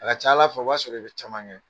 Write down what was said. A ka ca ala fɛ o b'a sɔrɔ i bɛ caman kɛ